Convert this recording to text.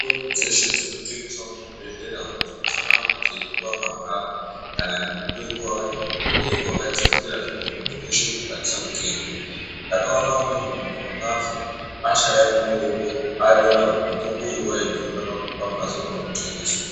Mitombo dzeshe dzinotengeswe muzvibhedhlera umu dzinofana kunge dzeipuva mahara. Kana nemutengo vakati dererei vakadzikira zvekuti muntu veshe unokwanisa kutenga. Ndakaona umweni muntu vakafa ashaya mutombo aona kuti mutombo uyu vaidhura pamhatso paunotengeswa.